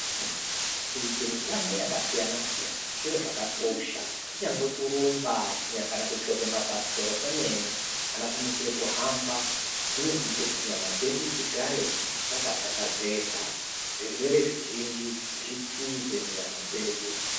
Kuite mitambo yakasiyana siyana zviro chakakosha kwemene kunyangwe kurumba kana kuchovha mabhasikoro kwemene kana kumukira kuhamba zvinotiite kuti nyama dzedu dzigare dzakathakazeka. Zvirwere zvizhinji zvitize munyama dzedu.